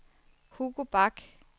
Hugo Bach